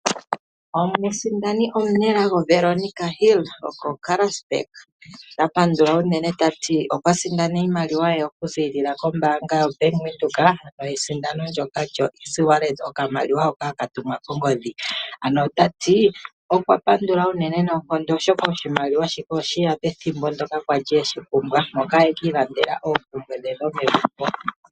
Omusindani omunelago Veronica Hill okoKarasburg otapandula unene otati okwa sindana iimaliwa ye okuzilila kombaanga yoBank Windhoek yesindano ndoka lyoeasy wallet okamaliwa hoka haka tumwa koongoodhi, ano otati okwapandula uunene noonkondo oshaka oshimaliwa osheya pethimbo ndyoka ali eshipumbwa moka ekiilandela oompumbwe dhe dhomegumbo.